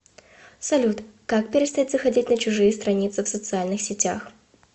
салют как перестать заходить на чужие страницы в социальных сетях